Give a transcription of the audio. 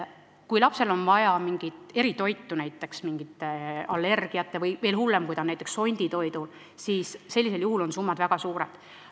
Kui lapsel on vaja eritoitu näiteks mingi allergia tõttu, või veel hullem, kui ta on näiteks sonditoidul, siis on summad väga suured.